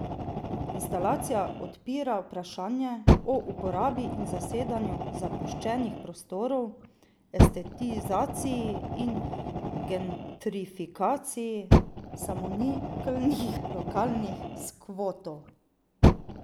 Instalacija odpira vprašanje o uporabi in zasedanju zapuščenih prostorov, estetizaciji in gentrifikaciji samoniklih lokalnih skvotov.